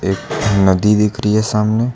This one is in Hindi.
एक नदी दिख रही है सामने।